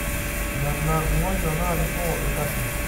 nena ng'onyo naarikoo ildasin